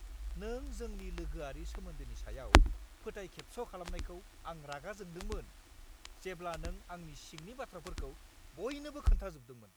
नों जोंनि लोगोआरि सोमोन्दोनि सायाव फोथायखेबस' खालामनायखौ आं रागा जोंदोंमोन, जेब्ला नों आंनि सिंनि बाथ्राफोरखौ बयनोबो खोन्थाजोबदोंमोन।